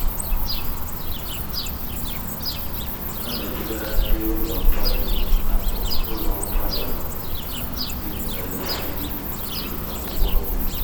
ana-ebugara ndi ụlọ nkwari akụ ụlọ nkwari akụ na ndi na-esi nri akwụkwọ nri